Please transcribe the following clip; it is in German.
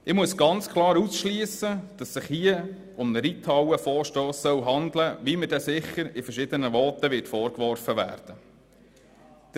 Ich muss ganz klar ausschliessen, dass es sich hierbei um einen Reithallenvorstoss handelt, wie mir sicher in verschiedenen Voten vorgeworfen werden wird.